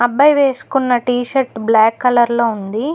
అబ్బాయి వేసుకున్న T shirt black colour లో ఉంది.